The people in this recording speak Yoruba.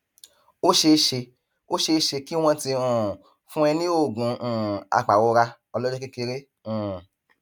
ó ṣeé ṣe ó ṣeé ṣe kí wọn ti um fún ẹ ní oògùn um apàrora ọlọjọ kékeré um